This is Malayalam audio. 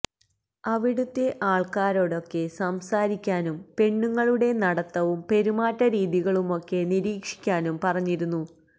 അവിടുത്തെ ആള്ക്കാരോടൊക്കെ സംസാരിക്കാനും പെണ്ണുങ്ങളുടെ നടത്തവും പെരുമാറ്റരീതികളുമൊക്കെ നിരീക്ഷിക്കാനും പറഞ്ഞിരുന്നു